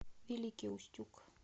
великий устюг